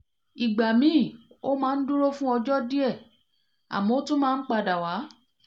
ìgbà míì ó máa ń dúró fún ọjọ́ díẹ̀ àmọ́ ó tún máa ń padà wá